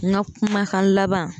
N ka kumakan laban